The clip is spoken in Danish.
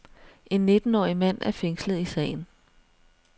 En nittenårig mand er fængslet i sagen.